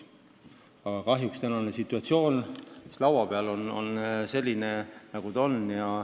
Aga kahjuks tänane eelnõu, mis laua peal on, on selline, nagu ta on.